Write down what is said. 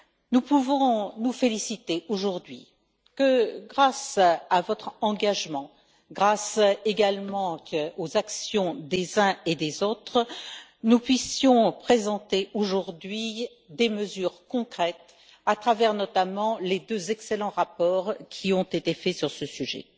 Nous pouvons nous féliciter que, grâce à votre engagement, grâce également aux actions des uns et des autres, nous puissions présenter aujourd'hui des mesures concrètes, à travers notamment les deux excellents rapports qui ont été faits sur ce sujet